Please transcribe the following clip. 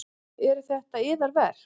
Eru þetta yðar verk?